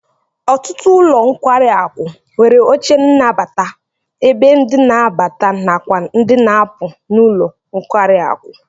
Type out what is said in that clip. Ọtụtụ ụlọ nkwari aku nwere oche nnabata ebe ndị n'abata nakwa ndi n'apu n'ụlọ nkwari akụ